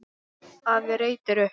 Afi reytir upp.